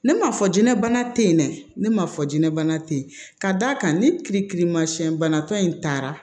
Ne ma fɔ jinɛbana te yen dɛ ne ma fɔ jinɛbana te yen ka d'a kan ni kirikirimasiyɛn banatɔ in taara